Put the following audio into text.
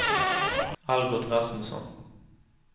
Algot Rasmusson